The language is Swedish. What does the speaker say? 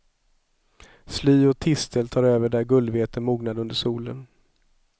Sly och tistel tar över där gullvete mognade under solen.